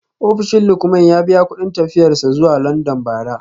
Ofishin Lukman ya biya kudin tafiyar sa zuwa london bara